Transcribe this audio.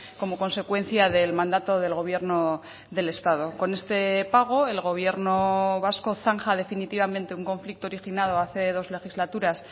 como consecuencia del mandato del gobierno del estado con este pago el gobierno vasco zanja definitivamente un conflicto originado hace dos legislaturas